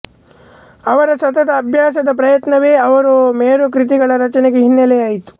ಅವರ ಸತತ ಅಭ್ಯಾಸದ ಪ್ರಯತ್ನವೇ ಅವರು ಮೇರುಕೃತಿಗಳ ರಚನೆಗೆ ಹಿನ್ನೆಲೆಯಾಯಿತು